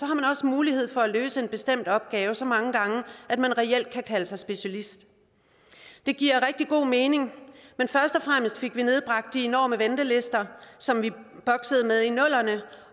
man også mulighed for at løse en bestemt opgave så mange gange at man reelt kan kalde sig specialist det giver rigtig god mening men først og fremmest fik vi nedbragt de enorme ventelister som vi boksede med i nullerne